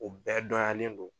O bɛɛ dɔnyalen don.